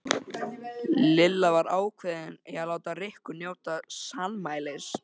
Lilla var ákveðin í að láta Rikku njóta sannmælis.